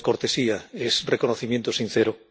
No es cortesía, es reconocimiento sincero.